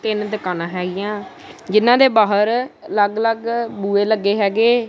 ਤਿੰਨ ਦੁਕਾਨਾਂ ਹੈਗੀਆਂ ਜਿਨਾਂ ਦੇ ਬਾਹਰ ਅਲੱਗ ਅਲੱਗ ਬੂਏ ਲੱਗੇ ਹੈਗੇ।